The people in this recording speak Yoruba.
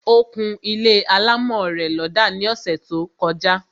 Ó kún ilé alámọ̀ rẹ̀ lọ́dà ní ọsẹ̀ tó; kọjá